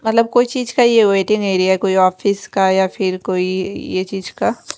मतलब कोई चीज का ये वेट नी रिये कोई ऑफिस का या फिर कोई ये चीज का --